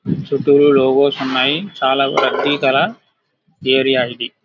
చుట్టూ లోపాస్ ఉన్నాయి. ఇది చాలా ప్రత్యేకమైన ఏరియా .